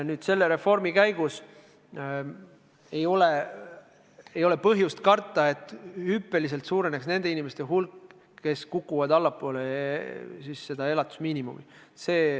Nüüd, selle reformi käigus ei ole põhjust karta, et suureneks hüppeliselt nende inimeste hulk, kes kukuvad allapoole elatusmiinimumi.